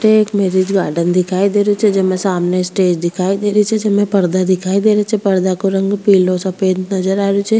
अठे एक marriage garden दिखाई दे रियो छे जिमे सामने स्टेज दिखाई दे रहियो छे जिमे पर्दा दिखाई दे रिया छे पर्दा को रंग पिलो सफ़ेद नजर आ रियो छे।